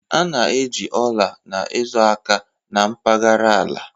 A na-eji ala na-ezo aka na mpaghara ala